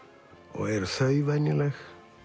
og eru þau venjuleg